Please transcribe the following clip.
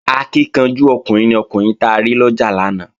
Akíkanjú ọkùnrin ni ọkùnrin ta rí lọ́jà lánàá